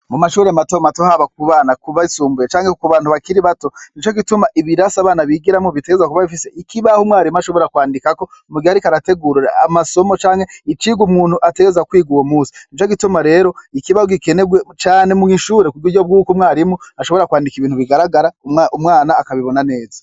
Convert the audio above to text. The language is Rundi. Mu mashuri mato mato haba kubana kubasumbuye canke ko ku bantu bakiri bato nico gituma ibirasi abana bigiramo bitegerezwa kuba bifise ikibaho umwarimu ashobora kwandika ko mu gihe arika arategurira amasomo cange icigo umuntu ategeza kwiga wo musi nico gituma rero ikibaho gikenegwe Cane mu'ishure ku bwiryo bw'uko mwarimu ashobora kwandika ibintu bigaragara umwana akabibona neza.